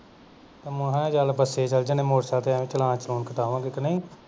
ਤੇ ਮੈਂਹ ਚਲ ਬਸੇ ਚਲ ਜਾਨੇ ਆਂ motorcycle ਤੇ ਐਵੇਂ ਹੀ challenge chillin ਕਟਾਵਾਂ ਗੇ ਕ ਨਹੀਂ